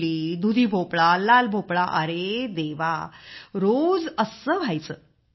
तोंडली दुधी भोपळा अरे देवा रोज असे व्हायचे